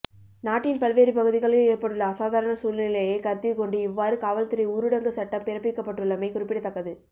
நாட்டின் பல்வேறு பகுதிகளில் ஏற்பட்டுள்ள அசாதாரண சூழ்நிலையை கருத்திற் கொண்டு இவ்வாறு காவல்துறை ஊரடங்கு சட்டம் பிறப்பிக்கப்பட்டுள்ளமை குறிப்பிடத்தக்கது